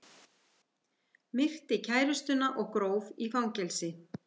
Myrti kærustuna og gróf í fangelsi